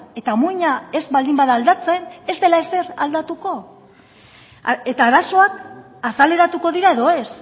eta muina ez baldin bada aldatzen ez dela ezer aldatuko eta arazoak azaleratuko dira edo ez